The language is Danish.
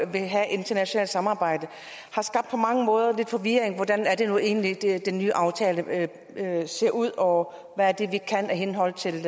vil have internationalt samarbejde på mange måder skabt lidt forvirring hvordan er det nu egentlig at den nye aftale ser ud og hvad er det vi kan i henhold til